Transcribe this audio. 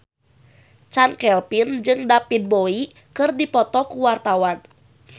Chand Kelvin jeung David Bowie keur dipoto ku wartawan